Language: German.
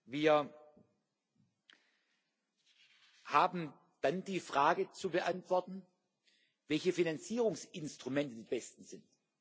Wir haben dann die Frage zu beantworten, welche Finanzierungsinstrumente die besten sind.